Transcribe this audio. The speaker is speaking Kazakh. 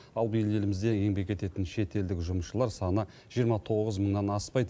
ал биыл елімізде еңбек ететін шетелдік жұмысшылар саны жиырма тоғыз мыңнан аспайды